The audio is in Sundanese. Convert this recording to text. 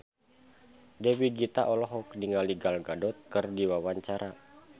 Dewi Gita olohok ningali Gal Gadot keur diwawancara